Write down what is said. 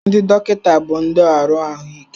Ndị dọkịta bụ ndị ọrụ ahụike.